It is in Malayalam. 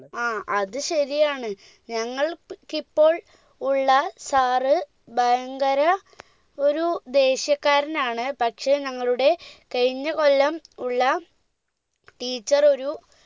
ആ അത് ശരിയാണ് ഞങ്ങൾ പ് ഇപ്പോൾ ഉള്ള sir ഭയങ്കര ഒരു ദേഷ്യക്കാരനാണ് പക്ഷെ ഞങ്ങളുടെ കഴിഞ്ഞ കൊല്ലം ഉള്ള teacher ഒരു